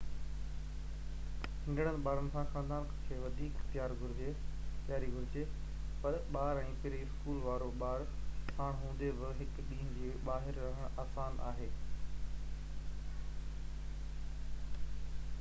ننڍڙن ٻارن سان خاندانن کي وڌيڪ تياري گهرجي پر ٻار ۽ پري-اسڪول وارا ٻار ساڻ هوندي به هڪ ڏينهن جي ٻاهر رهڻ آسان آهي